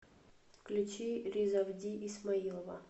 включи ризавди исмаилова